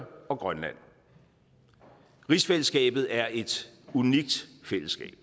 og grønland rigsfællesskabet er et unikt fællesskab